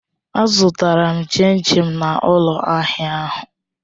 Azụtara m chin chin na ụlọ ahịa ahụ.